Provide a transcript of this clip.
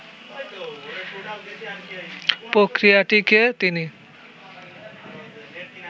প্রক্রিয়াটিকে তিনি